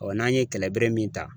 n'an ye kɛlɛbere min ta